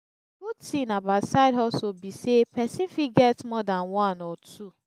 good thing about side hustle be say persin fit get more than one or two